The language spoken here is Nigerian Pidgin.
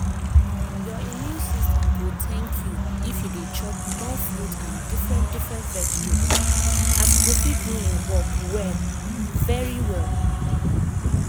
your immune system go thank you if you dey chop more fruit and different different vegetable. as e go fit do hin work well um well.